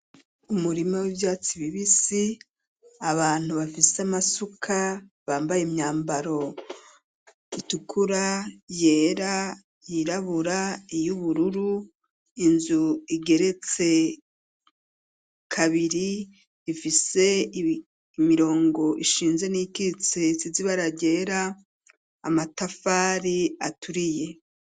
Umurima w'ivyatsi bibisi abantu bafise amasuka bambaye imyambaro itukura, yera, yirabura iy'ubururu inzu igeretse kabiri ifise imirongo ishinze n'iyikitse isize ibara ryera, amatafari aturiye.